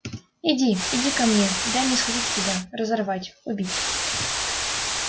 иди иди ко мне дай мне схватить тебя разорвать убить